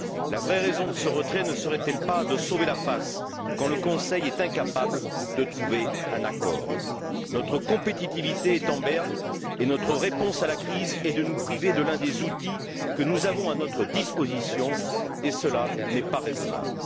La vraie raison de ce retrait ne serait elle de sauver la face, quand le Conseil est incapable de trouver un accord? Notre compétitivité est en berne et notre réponse à la crise consiste à nous priver de l'un des outils que nous avons à notre disposition, et cela n'est pas raisonnable.